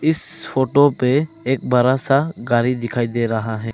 इस फोटो पे एक बड़ा सा गाड़ी दिखाई दे रहा है।